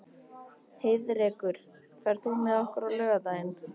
Heiðrekur, ferð þú með okkur á laugardaginn?